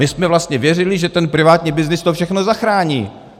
My jsme vlastně věřili, že ten privátní byznys to všechno zachrání.